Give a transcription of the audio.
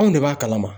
Anw de b'a kalama